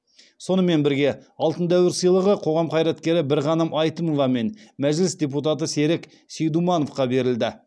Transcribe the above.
сонымен бірге алтын дәуір сыйлығы қоғам қайраткері бірғаным әйтімова мен мәжіліс депутаты серік сейдумановқа берілді